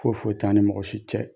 Foyi foyi t'an ni mɔgɔ si cɛ.